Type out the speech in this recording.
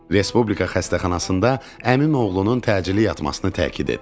Respublika xəstəxanasında əmimin oğlunun təcili yatmasını təkid etdilər.